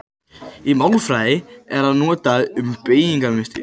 Í málfræði er það notað um beygingarmynstur.